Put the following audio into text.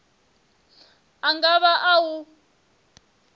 a nga vha a u